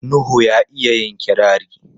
Nuhu ya iya yin kirari.